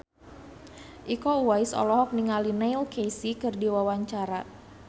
Iko Uwais olohok ningali Neil Casey keur diwawancara